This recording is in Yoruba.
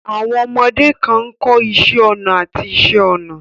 Àwọn ọmọdé kan náà ń kọ́ iṣẹ́ ọnà àti iṣẹ́ ọnà.